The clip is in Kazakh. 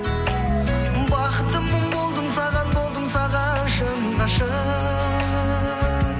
бақыттымын болдым саған болдым саған шын ғашық